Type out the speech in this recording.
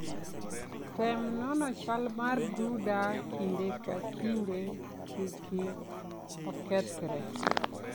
Tem nono chal mar brooder kinde ka kinde kiki okethre.